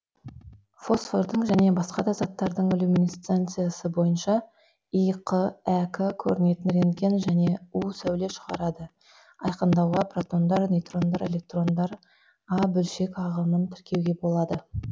фосфордың және басқа да заттардың люминесценциясы бойынша иқ әк көрінетін рентген және у сәуле шығарады айкындауға протондар нейтрондар электрондар а бөлшек ағымын тіркеуге болады